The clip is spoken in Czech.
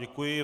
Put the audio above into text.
Děkuji.